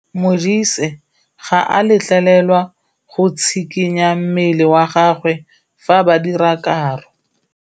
Modise ga a letlelelwa go tshikinya mmele wa gagwe fa ba dira karô.